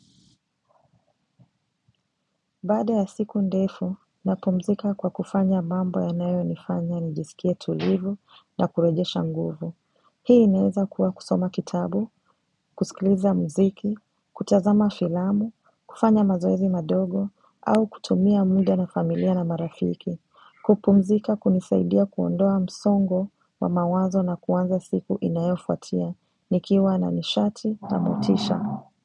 Baada ya siku ndefu, napumzika kwa kufanya mambo yanayonifanya nijisikie tulivu na kurejesha nguvu. Hii inaeza kuwa kusoma kitabu, kusikiliza mziki, kutazama filamu, kufanya mazoezi madogo, au kutumia muda na familia na marafiki. Kupumzika hunisaidia kuondoa msongo wa mawazo na kuanza siku inayofuatia, nikiwa na nishati na motisha.